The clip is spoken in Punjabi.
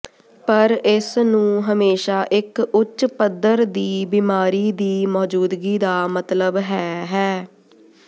ਪਰ ਇਸ ਨੂੰ ਹਮੇਸ਼ਾ ਇੱਕ ਉੱਚ ਪੱਧਰ ਦੀ ਬਿਮਾਰੀ ਦੀ ਮੌਜੂਦਗੀ ਦਾ ਮਤਲਬ ਹੈ ਹੈ